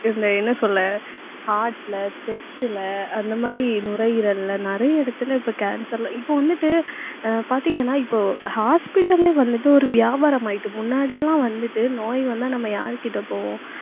இந்த என்ன சொல்ல heart ல chest ல அந்த மாதிரி நுரையீரல்ல நிறைய இடத்துல இப்ப cancer ல இப்ப வந்துட்டு ஆஹ் பாத்தீங்கன்னா இப்போ hospital ஏ வந்துட்டு ஒரு வியாபாரமாயிட்டு முன்னாடி எல்லாம் வந்துட்டு நோய் வந்தா நம்ம யார்கிட்ட போவோம்